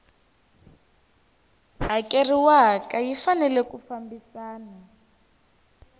hakeriwaku yi fanele yi fambisana